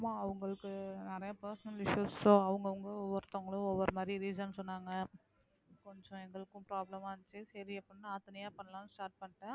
ஆமா அவங்களுக்கு நிறைய personal issues so அவங்கவங்க ஒவ்வொருத்தங்களும் ஒவ்வொரு மாதிரி reason சொன்னாங்க கொஞ்சம் எங்களுக்கும் problem ஆ இருந்துச்சு சரி எப்படின்னா நான் தனியா பண்ணலாம்ன்னு start பண்ணிட்டேன்